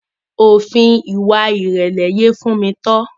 Òfin ìwà ìrẹ̀lẹ̀ yé Tofunmi.